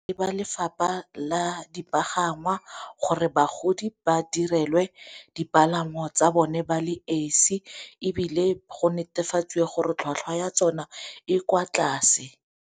Ba lefapha la dipagangwa gore bagodi ba direlwe dipalangwa tsa bone ba le esi, ebile go netefatsiwe gore tlhwatlhwa ya tsona e kwa tlase.